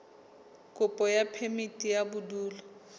kopo ya phemiti ya bodulo